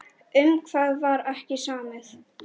Um hvað var ekki samið?